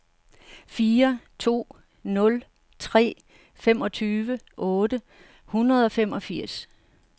fire to nul tre femogtyve otte hundrede og femogfirs